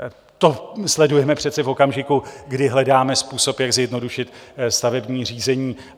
To sledujeme přece v okamžiku, kdy hledáme způsob, jak zjednodušit stavební řízení.